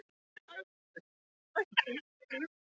Hann sagðist ekki vera vitund hræddur við dálitlar mannraunir.